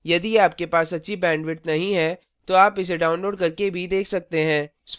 यदि आपके पास अच्छी bandwidth नहीं है तो आप इसे download करके भी देख सकते हैं